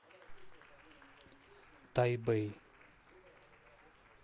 тайбэй